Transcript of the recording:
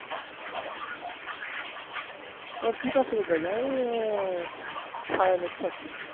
বলছে তুই কার সাথে করছিস আমি বলছি উম সায়নের সাথে।